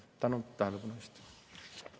Tänan tähelepanu eest!